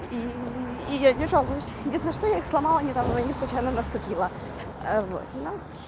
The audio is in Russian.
и я не жалуюсь потому что я сломала недавно не случайно наступила вот